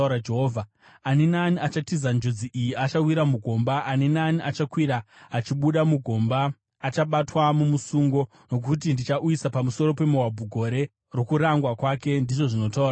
“Ani naani achatiza njodzi iyi achawira mugomba, ani naani achakwira achibuda mugomba, achabatwa mumusungo; nokuti ndichauyisa pamusoro peMoabhu gore rokurangwa kwake,” ndizvo zvinotaura Jehovha.